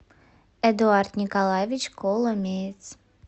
эдуард николаевич коломеец